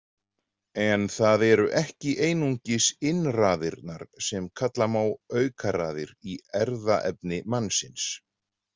En það eru ekki einungis innraðirnar sem kalla má aukaraðir í erfðaefni mannsins.